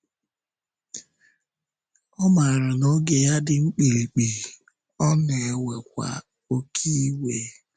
Ọ maara na oge ya dị mkpirikpi, ọ na-ewekwa “oké iwe.”